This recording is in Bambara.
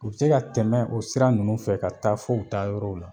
U be se ka tɛmɛ o sira ninnu fɛ ka taa fɔ u taa yɔrɔw la